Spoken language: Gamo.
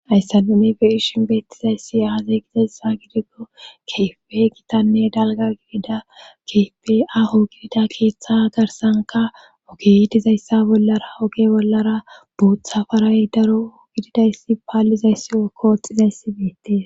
Ayssa nunife ishin beettizayssi aazey gidayssa gidikko keefe gitanne dalga gidida keefe aho gidida keeththa garsanka oge dizayssa bollara oge bollara buutha faray daro gididayssi paallizayssi o kooxxizayssi beetti.